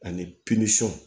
Ani